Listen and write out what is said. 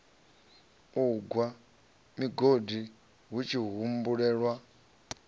u gwa migodi hutshi humbulelwa